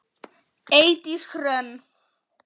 Eydís Hrönn.